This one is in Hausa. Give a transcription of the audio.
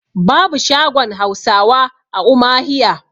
babu shagon Hausawa a umahiya